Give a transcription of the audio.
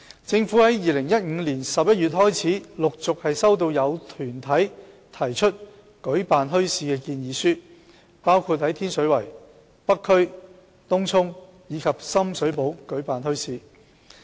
政府自2015年11月開始，陸續收到有團體提出舉辦墟市的建議書，包括在天水圍、北區、東涌及深水埗舉辦墟市。